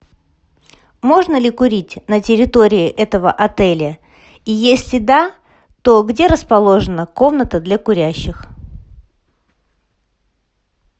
можно ли курить на территории этого отеля и если да то где расположена комната для курящих